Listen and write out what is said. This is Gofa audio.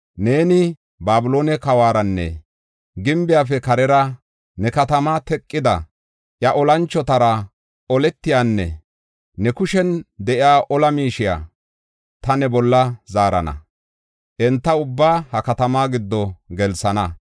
‘Neeni Babiloone kawuwaranne gimbiyafe karera ne katama teqida iya olanchotara oletiyanne ne kushen de7iya ola miishiya ta ne bolla zaarana; enta ubbaa ha katamaa giddo gelsana.